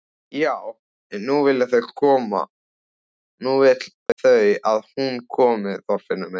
Já en nú vilja þau að hún komi, Þorfinnur minn.